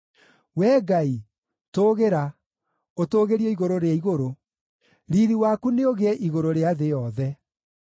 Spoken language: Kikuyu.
Wee Ngai, tũũgĩra, ũtũũgĩrio igũrũ rĩa igũrũ; riiri waku nĩũgĩe igũrũ rĩa thĩ yothe.